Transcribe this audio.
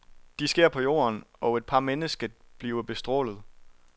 De sker på jorden, og et par mennesket bliver bestrålet.